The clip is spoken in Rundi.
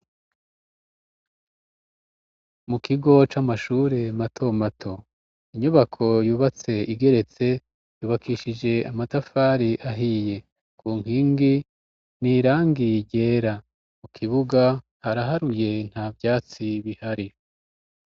Mu kigo c'amashure matomato. Inyubako yubatse igeretse, yubakishije amatafari ahiye. Ku nkingi ni irangi ryera, mu kibuga haraharuye nta vyatsi bihari.